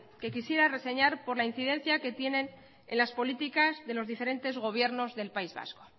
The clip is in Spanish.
que quisiera reseñar por la incidencia que tiene en las políticas de los diferentes gobiernos del país vasco